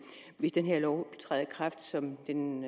hvis den her lov træder i kraft som den